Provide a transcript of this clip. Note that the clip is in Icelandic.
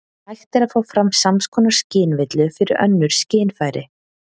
Hægt er að fá fram sams konar skynvillu fyrir önnur skynfæri.